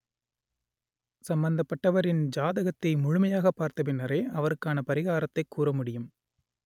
சம்பந்தப்பட்டவரின் ஜாதகத்தை முழுமையாகப் பார்த்த பின்னரே அவருக்கான பரிகாரத்தைக் கூற முடியும்